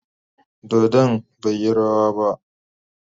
Dodon bai yi rawa ba.